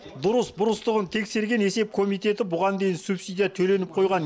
дұрыс бұрыстығын тексерген есеп комитеті бұған дейін субсидия төленіп қойған